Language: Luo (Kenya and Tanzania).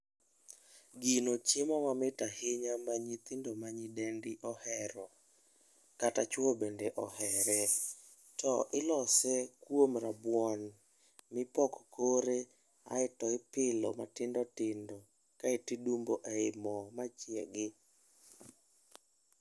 Gino chiemo mamit ahinya ma nyithindo ma nyidendi ohero. Kata chwo bende ohere. To ilose kuom rabuon mipoko kore aeto ipilo matindotindo kaeto idumbo e i mo machiegi.